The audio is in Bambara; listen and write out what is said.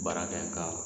Baara kɛ ka